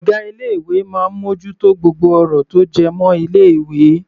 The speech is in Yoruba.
Ọ̀gá ilé ìwé máa ń mú ojú tó gbogbo ọ̀rọ̀ tó jẹ́ mọ́ ilé ìwé.